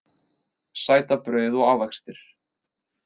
Sætabrauð og ávextir